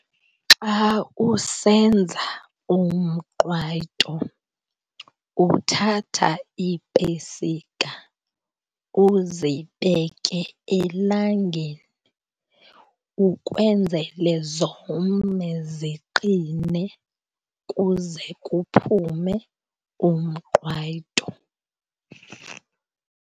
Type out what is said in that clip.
Xa usenza umqwayito uthatha iipesika uzibeke elangeni ukwenzele zome, ziqine, kuze kuphume umqwayito.